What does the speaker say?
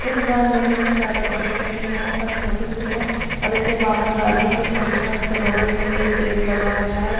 यह दुकान देखने में ज्यादा बड़ी तो नहीं है पर छोटी सी है और इसके बाहर गाड़ियां भी खड़ी हैं और इसके बगल में भी एक गेट लगा हुआ है।